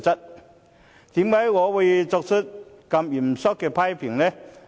為甚麼我會作出如此嚴肅的批評？